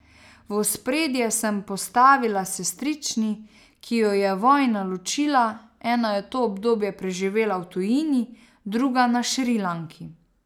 V ospredje sem postavila sestrični, ki ju je vojna ločila, ena je to obdobje preživela v tujini, druga na Šrilanki.